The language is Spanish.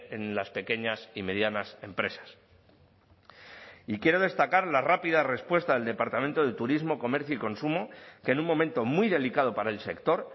en las pequeñas y medianas empresas y quiero destacar la rápida respuesta del departamento de turismo comercio y consumo que en un momento muy delicado para el sector